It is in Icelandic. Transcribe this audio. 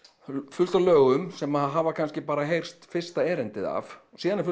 fullt af lögum sem hafa kannski bara heyrst fyrsta erindið af síðan eru